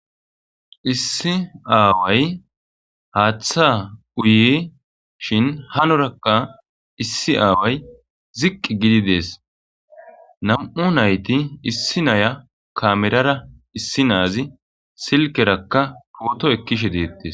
Issi away haaththa uye shin hanorakka issi away ziqqi gidi dees nam'u nayti issi naya kamerara issi naazi silkerakka pooto ekkishe deettes.